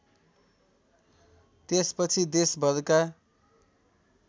त्यसपछि देशभरका